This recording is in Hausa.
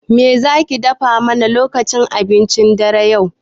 Me zaki dafa mana lokacin cin abincin dare yau?